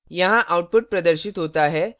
यहाँ output प्रदर्शित होता है